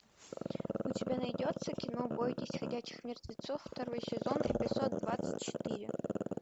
у тебя найдется кино бойтесь ходячих мертвецов второй сезон эпизод двадцать четыре